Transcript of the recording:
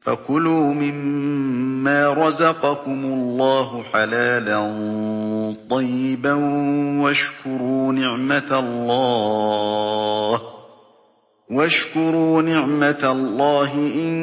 فَكُلُوا مِمَّا رَزَقَكُمُ اللَّهُ حَلَالًا طَيِّبًا وَاشْكُرُوا نِعْمَتَ اللَّهِ إِن